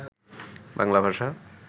বাংলাভাষা